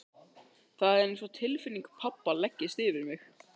Það er einsog tilfinning pabba leggist yfir mig.